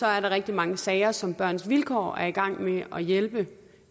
er der rigtig mange sager som børns vilkår er i gang med at hjælpe